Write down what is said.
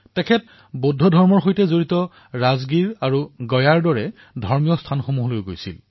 তেওঁ বৌদ্ধ ধৰ্মৰ সৈতে জড়িত ৰাজগীৰ আৰু গয়াৰ দৰে ধাৰ্মিক স্থানলৈও গৈছিল